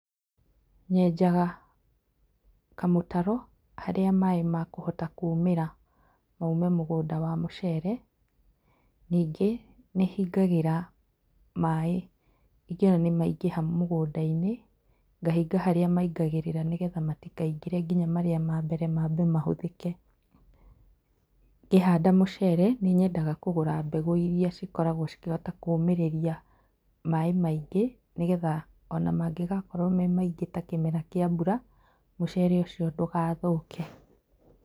Nyenjaga kamũtaro haria maaĩ makũhota kũumĩra maume mũgũnda wa mũcere, ningĩ nĩhingagĩra maaĩ ingĩona nĩmaingĩha mũgũndainĩ, ngahinga harĩa maingagĩrĩra nĩgetha matikaingĩre nginya marĩa ma mbere mambe mahũthĩke. Ngĩhanda mũcere nĩnyendaga kũgũra mbegũ iria ihotaga kũmĩrĩria maaĩ maingĩ nigetha ona mangĩgakorwo me maingĩ ta kĩmera kĩa mbura mũcere ũcio ndũgathũke.